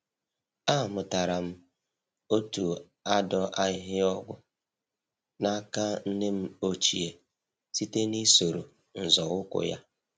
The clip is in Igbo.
Amụtara m otu adọ ahịhịa ọgwụ n'aka nne m ochie site na-isoro nzọ ụkwụ ya